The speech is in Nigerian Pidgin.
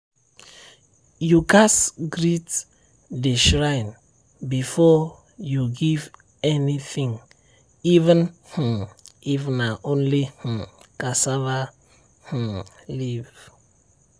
you gatz greet the shrine before you give anything even um if na only um cassava um leaf.